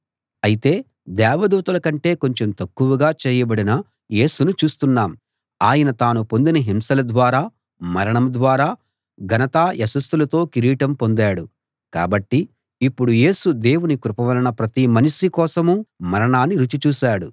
అయితే దేవదూతలకంటే కొంచెం తక్కువగా చేయబడిన యేసును చూస్తున్నాం ఆయన తాను పొందిన హింసల ద్వారా మరణం ద్వారా ఘనతా యశస్సులతో కిరీటం పొందాడు కాబట్టి ఇప్పుడు యేసు దేవుని కృప వలన ప్రతి మనిషి కోసమూ మరణాన్ని రుచి చూశాడు